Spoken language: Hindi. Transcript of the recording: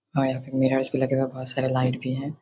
हां यहाँ पे मिररस भी लगे हुए बहोत सारे लाइट भी हैं।